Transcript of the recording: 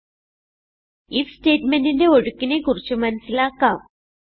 if സ്റ്റേറ്റ്മെന്റിന്റെ ഒഴുക്കിനെ കുറിച്ച് മനസിലാക്കാം